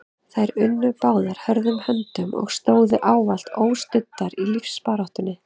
Þær unnu báðar hörðum höndum og stóðu ávallt óstuddar í lífsbaráttunni.